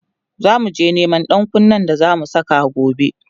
zamuje Neman ɗankunne da zamu Sa gobe